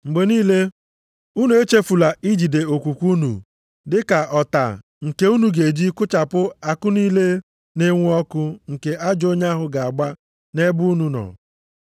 Mgbe niile, unu echefula ijide okwukwe unu dị ka ọta nke unu ga-eji kụchapụ àkụ niile na-enwu ọkụ nke ajọ onye ahụ ga-agba nʼebe unu nọ.